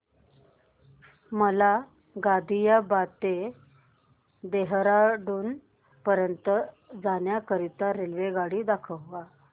मला गाझियाबाद पासून ते देहराडून पर्यंत जाण्या करीता रेल्वेगाडी दाखवा